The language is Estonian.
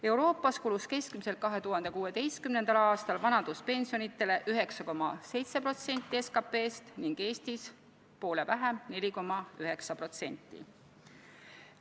Euroopas kulus 2016. aastal vanaduspensionitele keskmiselt 9,7% SKP-st ning Eestis poole vähem – 4,9%.